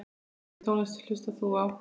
Á hvernig tónlist hlustar þú?